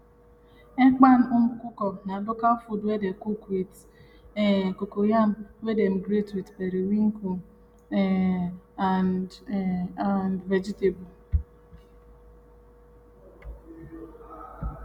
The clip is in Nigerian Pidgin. um ekpan nkukwo na local food wey dey cook with um cocoyam wey dem grate with periwinkle um and um and vegetable